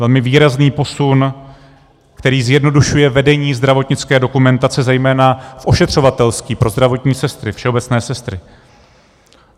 Velmi výrazný posun, který zjednodušuje vedení zdravotnické dokumentace zejména v ošetřovatelství, pro zdravotní sestry, všeobecné sestry.